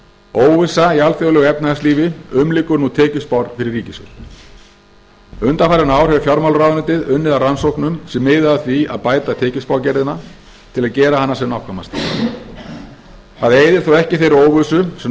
óvissa í alþjóðlegu efnahagslífi umlykur nú tekjuspár fyrir ríkissjóð undanfarin ár hefur fjármálaráðuneytið unnið að rannsóknum sem miða að því að bæta tekjuspágerðina til að gera hana sem nákvæmasta það eyðir þó ekki þeirri óvissu sem nú